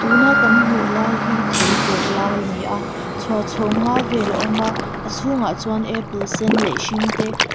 tuna kan hmuh lai hi thei zawrh lai a ni a chhuar chhawng nga vel a awm a a chhungah chuan apple sen leh hring te.